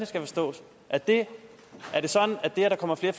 skal forstås er det sådan at det at der kommer flere